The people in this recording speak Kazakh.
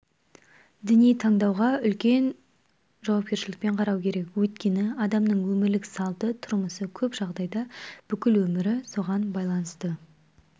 діни таңдауға өте үлкен жауапкершілікпен қарау керек өйткені адамның өмірлік салты тұрмысы көп жағдайда бүкіл өмірі соған байланысты